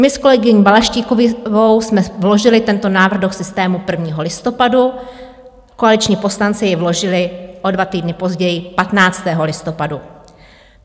My s kolegyni Balaštíkovou jsme vložily tento návrh do systému 1. listopadu, koaliční poslanci jej vložili o dva týdny později, 15. listopadu.